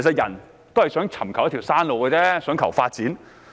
人只想尋求一條生路、想求發展。